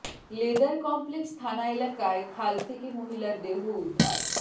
leather complex থানা এলাকায় খাল থেকে মহিলার দেহ উদ্ধার